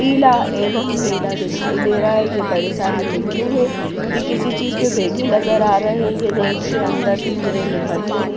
पीला एवं नीला दिखाई दे रहा है ये बड़े सारे मिट्टू है ये किसी चीज पे बैठे नजर आ रहे हैं यह नेट के अंदर पिंजरे में बंद है।